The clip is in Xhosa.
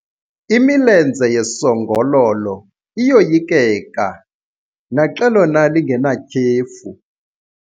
Imilenze yesongololo iyoyikeka naxa lona lingenatyhefu.